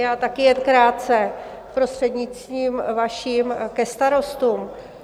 Já taky jen krátce, prostřednictvím vašim, ke starostům.